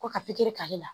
Ko ka pikiri k'ale la